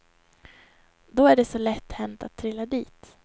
Då är det så lätt hänt att trilla dit.